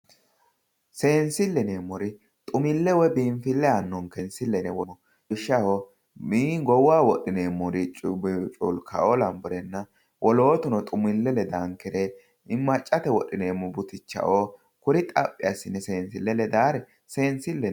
Seensile yineemmori xumile woyi biinfile aanonkere seensile yinne woshshineemmo lawishshaho goowaho wodhineemmoricho woyi culkao lawinore wolootuno xumile ledanore maccate wodhineemmore butichao kuri xaphi assine seensile ledanore seensileho yineemmo.